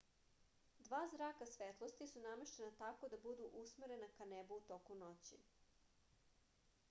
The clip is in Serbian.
dva zraka svetlosti su nameštena tako da budu usmerena ka nebu u toku noći